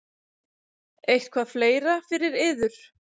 Eitthvað fleira fyrir yður?